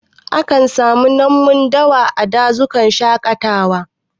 A kan samu namun dawa a dazukan shaƙatawa